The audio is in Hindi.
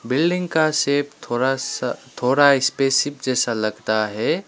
बिल्डिंग का शेप थोड़ा सा थोड़ा स्पेसशिप जैसा लगता है।